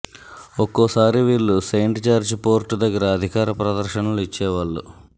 ఒక్కోసారి వీళ్ళు Saint George Fort దగ్గర అధికార ప్రదర్శనలు ఇచ్చేవాళ్ళు